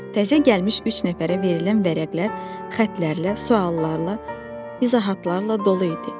Təzə gəlmiş üç nəfərə verilən vərəqlər xətlərlə, suallarla, izahatlarla dolu idi.